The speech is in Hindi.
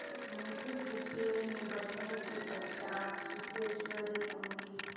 मुंशी जी के निबटने के पश्चात सिद्धेश्वरी उनकी